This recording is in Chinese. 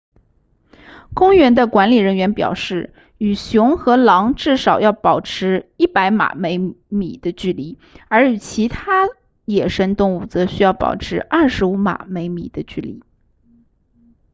公园的管理人员表示与熊和狼至少要保持100码米的距离而与所有其他野生动物则需要保持25码米的距离